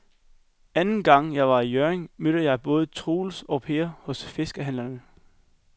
Anden gang jeg var i Hjørring, mødte jeg både Troels og Per hos fiskehandlerne.